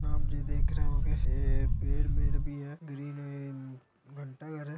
आप जी देख रहे होंगे पेड- मेड भी है और ये ग्रीन है ये घंटाघर है |